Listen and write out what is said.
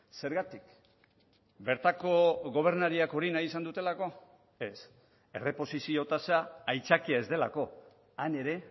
zergatik bertako gobernariak hori nahi izan dutelako ez erreposizio tasa aitzakia ez delako han ere